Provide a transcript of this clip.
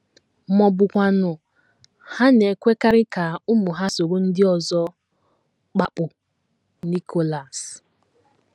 Ma ọ bụkwanụ, ha na - ekwekarị ka ụmụ ha soro ndị ọzọ kpapụ. ” Nicholas.